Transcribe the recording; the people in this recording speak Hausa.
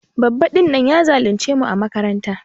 Babba din nan ya zulunce mu ã makaranta.